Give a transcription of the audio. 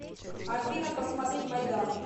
афина посмотреть майдан